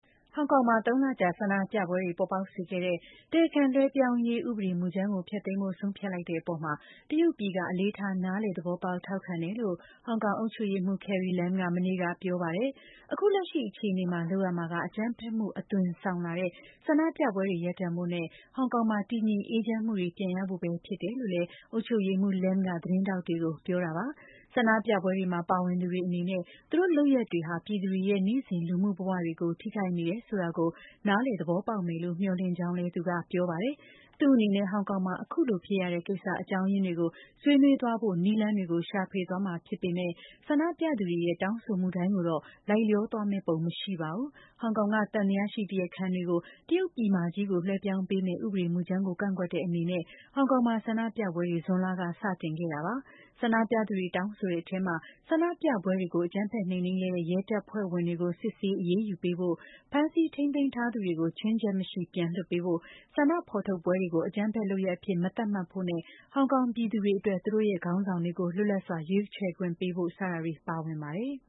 ဟောင်ကောင်မှာ ၃ လ ကြာ ဆန္ဒပြပွဲတွေ ပေါ်ပေါက်စေခဲ့တဲ့ တရားခံ လွှဲပြောင်းရေးဥပဒေမူကြမ်းကို ဖျက်သိမ်းဖို့ဆုံးဖြတ်လိုက်တဲ့ အပေါ် တရုတ်ပြည်က အလေးထား၊ နားလည် သဘောပေါက်၊ ထောက်ခံတယ်လို့ ဟောင်ကောင် အုပ်ချုပ်ရေးမှုး Carrie Lam က မနေ့ကပြောပါတယ်။ အခုလက်ရှိ အခြေအနေမှာ လုပ်ရမှာက အကြမ်းဖက်မှု အသွင်ဆောင်လာတဲ့ ဆန္ဒပြပွဲတွေကို ရပ်တန့်ဖို့နဲ့ ဟောင်ကောင်မှာ တည်ငြိမ်အေးချမ်းမှုတွေပြန်ရဖို့ ပဲဖြစ်တယ်လို့ အုပ်ချုပ်ရေးမှူး Lam က သတင်းထောက်တွေကို ပြောတာပါ။ ဆန္ဒပြပွဲတွေမှာ ပါဝင်ကြသူတွေ အနေနဲ့ သူတို့လုပ်ရပ်တွေက ပြည်သူတွေရဲ့ နေ့စဉ်လူမှုဘဝတွေကို ထိခိုက်နေတယ်ဆိုတာကို နားလည် သဘောပေါက်မယ်လို့ မျှော်လင့်ကြောင်းလည်း သူက ပြောပါတယ်။ သူ့အနေနဲ့ ဟောင်ကောင်မှာအခုလိုဖြစ်ရတဲ့ ကိစ္စအကြောင်းရင်းတွေကို ဆွေးနွေးသွားဖို့ နည်းလမ်းတွေကို ရှာဖွေသွားမှာ ဖြစ်ပေမဲ့ ဆန္ဒပြသူတွေရဲ့ တောင်းဆိုမှုတိုင်းကိုတော့ လိုက်လျောသွားမယ့် ပုံမရှိပါဘူး။ ဟောင်ကောင်က သံသယရှိတရားခံတွေကို တရုတ်ပြည်မကြီးကို လွှဲပြောင်းပေးမယ့် ဥပဒေမူကြမ်းကို ကန့်ကွက်တဲ့အနေနဲ့ ဟောင်ကောင်မှာ ဆန္ဒပြပွဲတွေ ဇွန်လ ကစတင်ခဲ့တာပါ။ ဆန္ဒပြသူတွေတောင်းဆိုတဲ့ အထဲမှာ ဆန္ဒပြပွဲတွေကို အကြမ်းဖက်နှိမ်နှင်းခဲ့တဲ့ ရဲတပ်ဖွဲ့ဝင်တွေကို စစ်ဆေးအရေးယူပေးဖို့၊ ဖမ်းဆီးထိန်းသိမ်းထားသူတွေကို ချွင်းချက်မရှိပြန်လွှတ်ပေးဖို့၊ ဆန္ဒဖော်ထုတ်ပွဲတွေကို အကြမ်းဖက်လုပ်ရပ်အဖြစ် မသတ်မှတ်ဖို့နဲ့ ဟောင်ကောင်ပြည်သူတွေ အတွက် သူတို့ရဲ့ ခေါင်းဆောင်တွေကို လွတ်လပ်စွာရွေးချယ်ခွင့်ပေးဖို့ စတာတွေပါဝင်ပါတယ်။